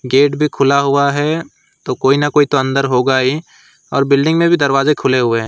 Gate भी खुला हुआ है तो कोई न कोई अंदर होगा ही और बिल्डिंग में भी दरवाजे खुले हुए हैं।